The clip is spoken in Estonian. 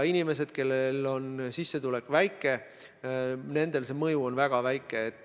Inimestele, kelle sissetulek on väike, on see mõju väga väike.